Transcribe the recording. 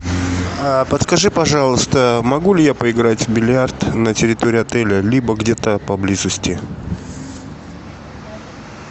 подскажи пожалуйста могу ли я поиграть в бильярд на территории отеля либо где то поблизости